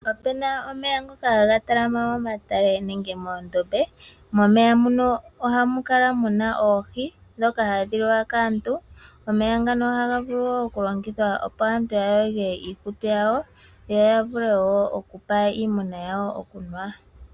Opuna omeya ngoka haga talama momatale nenge moondombe, momeya muka ohamu kala muna oohi ndhoka hadhi liwa kaantu. Omeya ngano ohaga vulu wo oku longithwa opo aantu ya yoge iikutu, yo ya vule wo okupa iimuna yawo okunwa.